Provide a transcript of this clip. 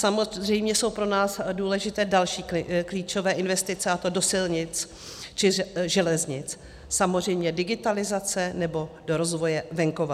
Samozřejmě jsou pro nás důležité další klíčové investice, a to do silnic či železnic, samozřejmě digitalizace nebo do rozvoje venkova.